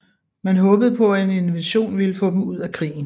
Man håbede på at en invasion ville få dem ud af krigen